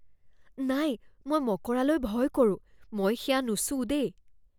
নাই! মই মকৰালৈ ভয় কৰোঁ। মই সেয়া নুচুওঁ দেই।